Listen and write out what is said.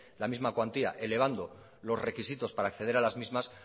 la misma cuantía elevando los requisitos para acceder a las mismas